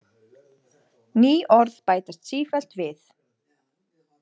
Ný orð bætast sífellt við.